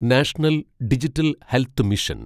national digital health mission